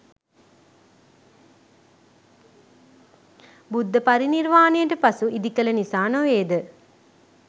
බුද්ධපරිනිර්වානයට පසු ඉදිකල නිසා නොවේද?